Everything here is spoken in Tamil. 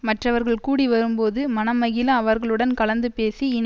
மற்றவர்கள் கூடி வரும்போது மனம் மகிழ அவர்களுடன் கலந்து பேசி இனி